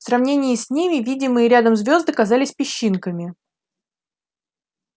в сравнении с ними видимые рядом звёзды казались песчинками